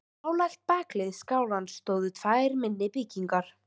Nálægt bakhlið skálans stóðu tvær minni byggingar.